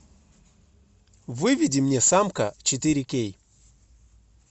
выведи мне самка четыре кей